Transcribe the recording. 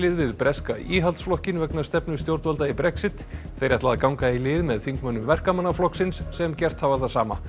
við breska Íhaldsflokkinn vegna stefnu stjórnvalda í Brexit þeir ætla að ganga í lið með þingmönnum Verkamannaflokksins sem gert hafa það sama